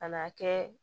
Kan'a kɛ